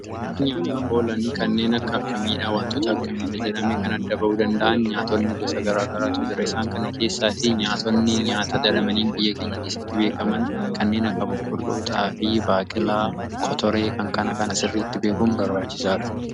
Nyaataaf oolan kanneen akka miidhaa wantota akka miidha jedhame kan adda ba'uu danda'an nyaatonni gosa garaagaraatu jira. Isaan kana keessaatii nyaatonni nyaata dadhamanii biyya keenya keessitti beekaman kanneen akka boqqolloo, xaafii, baaqilaa, kotoree kana kana sirriitti beekun barbaachisaadha.